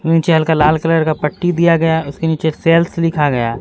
निचे हल्का लाल कलर का पट्टी दिया गया उसके निचे सेल्स लिखा गया।